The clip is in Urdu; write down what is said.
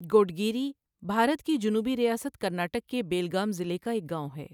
گوڈگیری بھارت کی جنوبی ریاست کرناٹک کے بیلگام ضلع کا ایک گاؤں ہے۔